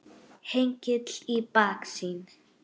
Hengill í baksýn.